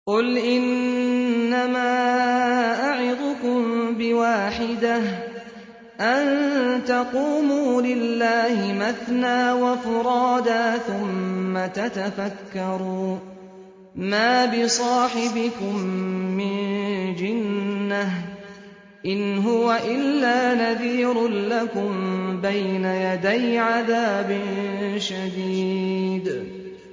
۞ قُلْ إِنَّمَا أَعِظُكُم بِوَاحِدَةٍ ۖ أَن تَقُومُوا لِلَّهِ مَثْنَىٰ وَفُرَادَىٰ ثُمَّ تَتَفَكَّرُوا ۚ مَا بِصَاحِبِكُم مِّن جِنَّةٍ ۚ إِنْ هُوَ إِلَّا نَذِيرٌ لَّكُم بَيْنَ يَدَيْ عَذَابٍ شَدِيدٍ